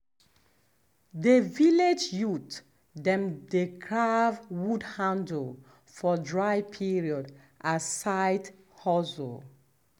de village youth dem dey carve wood handle for dry period as side hustle.